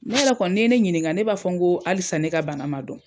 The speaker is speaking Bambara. Ne yɛrɛ kɔni n'i ye ne ɲiniŋa ne b'a fɔ ŋoo halisa ne ka bana ma dɔn.